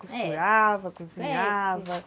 Costurava, e, cozinhava, é